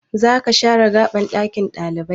Zaka share gaban ɗakin ɗalibai?